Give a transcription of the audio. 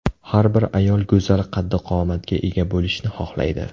Har bir ayol go‘zal qaddi-qomatga ega bo‘lishni xohlaydi.